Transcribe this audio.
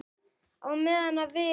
Hann slapp bara út.